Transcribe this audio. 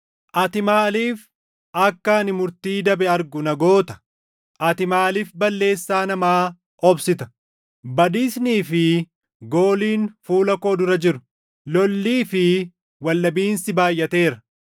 Ati maaliif akka ani murtii dabe argu na goota? Ati maaliif balleessaa namaa obsita? Badiisnii fi gooliin fuula koo dura jiru; lollii fi waldhabiinsi baayʼateera.